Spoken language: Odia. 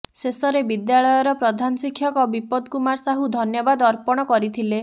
ଶେଷରେ ବିଦ୍ୟାଳୟର ପ୍ରଧାନ ଶିକ୍ଷକ ବିପଦ କୁମାର ସାହୁ ଧନ୍ୟବାଦ ଅର୍ପଣ କରିଥିଲେ